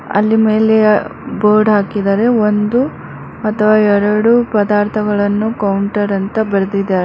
ಅಲ್ಲಿ ಮೇಲೆ ಆ ಬೋರ್ಡ್ ಹಾಕಿದರೆ ಒಂದು ಅಥವಾ ಎರೆಡು ಪದಾರ್ಥಗಳನ್ನು ಕೌಂಟರ್ ಅಂತ ಬರೆದಿದರೆ.